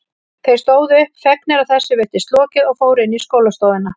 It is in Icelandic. Þeir stóðu upp, fegnir að þessu virtist lokið og fóru inn í skólastofuna.